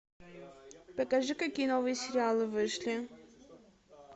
покажи какие новые сериалы вышли